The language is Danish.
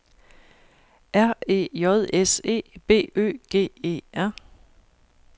R E J S E B Ø G E R